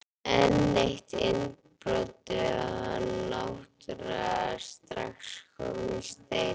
Enn eitt innbrotið og hann náttúrulega strax kominn í Steininn.